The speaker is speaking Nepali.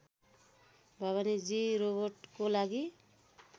भवानीजी रोबोटको लागि